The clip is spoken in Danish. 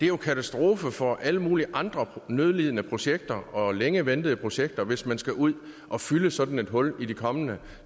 jo en katastrofe for alle mulige andre nødlidende projekter og længe ventede projekter hvis man skal ud at fylde sådan et hul i de kommende